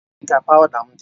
Ebee ka pawuda m dị?